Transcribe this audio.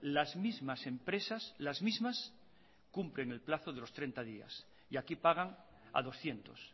las mismas empresas las mismas cumplen el plazo de los treinta días y aquí pagan a doscientos